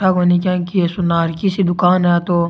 आ कोई न कि ये सुनार की सी दुकान है तो --